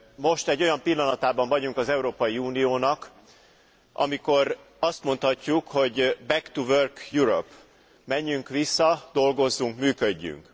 Most egy olyan pillanatában vagyunk az Európai Uniónak, amikor azt mondhatjuk, hogy back to work Europe, menjünk vissza, dolgozzunk, működjünk.